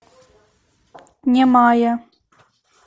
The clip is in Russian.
немая